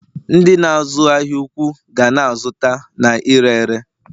ndị na-azu ahia ụkwụ ga na-azụta na ire ere